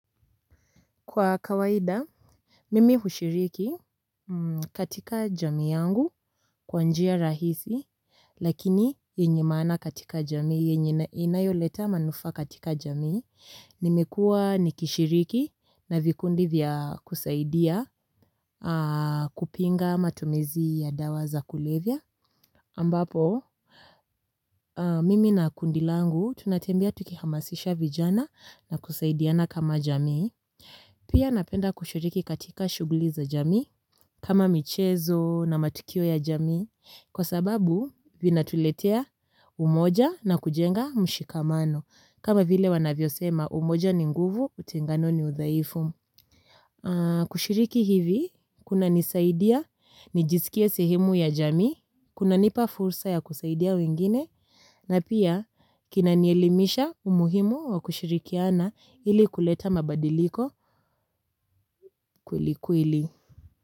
Kwa kawaida, mimi hushiriki katika jamii yangu kwa njia rahisi, lakini yenye maana katika jamii, inayoleta manufaa katika jami, nimekua ni kishiriki na vikundi vya kusaidia kupinga matumizi ya dawa za kulevya. Ambapo, mimi na kundi langu tunatembea tukihamasisha vijana na kusaidiana kama jamii. Pia napenda kushiriki katika shughuli za jamii kama michezo na matukio ya jamii kwa sababu vinatuletea umoja na kujenga mshikamano kama vile wanavyo sema umoja ni nguvu utengano ni udhaifu. Kushiriki hivi, kunanisaidia, nijisikie sehemu ya jamii, kuna nipafursa ya kusaidia wengine, na pia kinanielimisha umuhimu wa kushirikiana ili kuleta mabadiliko kweli kweli.